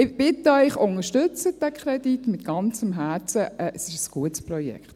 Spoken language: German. Ich bitte Sie, unterstützen Sie diesen Kredit, es ist ein gutes Projekt.